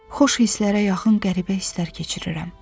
Xoş hisslərə yaxın qəribə hisslər keçirirəm.